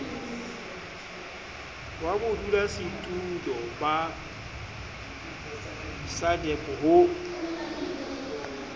wa bodulasetulo ba sadc ho